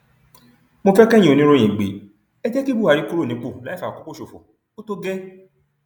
mo fẹ kẹyìn oníròyìn gbé e e jẹ kí buhari kúrò nípò láì fàkókò ṣòfò ó tó gẹẹ